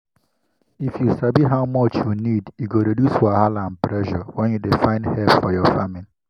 if you sabi how much you need e go reduce wahala and pressure when you dey find help for your farming